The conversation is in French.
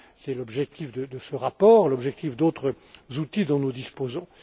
C'est l'objectif de ce rapport, l'objectif d'autres outils dont nous disposons.